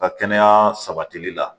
Ka kɛnɛya sabatili la